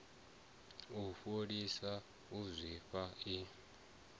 u fholisa u zwimba i